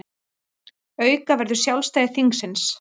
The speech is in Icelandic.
Auka verður sjálfstæði þingsins